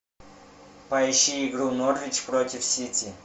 поищи игру норвич против сити